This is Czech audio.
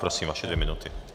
Prosím, vaše dvě minuty.